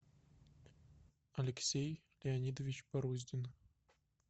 алексей леонидович баруздин